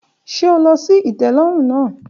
Ṣe o lọ si itẹlọrun naa?